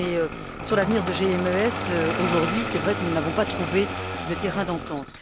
Mais sur l'avenir de GMES aujourd'hui, il est vrai que nous n'avons pas trouvé de terrain d'entente.